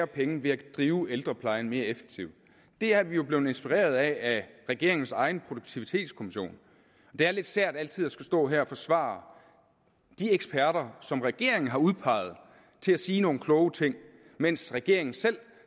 penge ved at drive ældreplejen mere effektivt der er vi jo blevet inspireret af regeringens egen produktivitetskommission og det er lidt sært altid at skulle stå her og forsvare de eksperter som regeringen har udpeget til at sige nogle ting mens regeringen selv